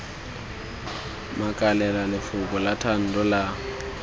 makalela lefoko la thando la